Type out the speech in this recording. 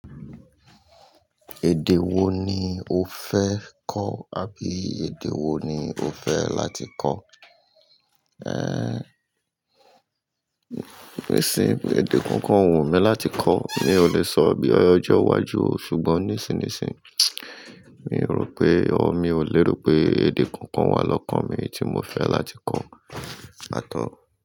Èdè wo ni o fẹ́ kọ́ àbí èdè wo ni o fẹ́ láti kọ́? Ìsìn èdè kan kan ó wù mí láti kò. Mi ò lè sọ bí ọjọ́ wá ju o, ṣùgbọ́n nísin nísin yí, mi rò pé, ór mi ò lérò pé èdè kankan wà lọ́kàn mi tí mo fẹ́ láti kọ́. Là tó.